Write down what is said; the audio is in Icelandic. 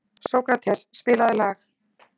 Sókrates, spilaðu lag.